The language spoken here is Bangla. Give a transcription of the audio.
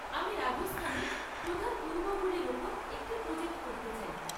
আমি রাজস্থানের প্রধান দুর্গগুলির উপর একটি প্রজেক্ট করতে চাই৷